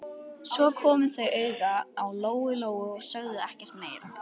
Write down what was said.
Svo komu þau auga á Lóu-Lóu og sögðu ekkert meira.